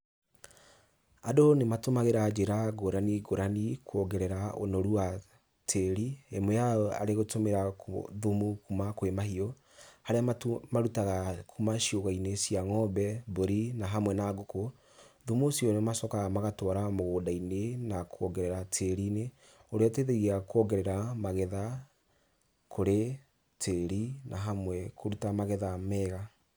Andũ nĩ matũmagĩra njĩra ngũrani ngũrani kuongerera ũnoru wa tĩri, ĩmwe yao arĩ gũtũmĩra thumu kuma kwĩ mahiũ, harĩa marutaga kuma ciugũ-inĩ cia ng'ombe, mbũri na hamwe na ngũkũ, thumu ũcio nĩ macokaga magatwara mũgũnda-inĩ, na kuongerera tĩri-inĩ ũrĩa ũteithagia kuongerera magetha kũrĩ tĩri, na hamwe kũruta magetha mega.